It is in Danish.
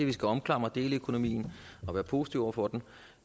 vi skal omfavne deleøkonomien og være positive over for den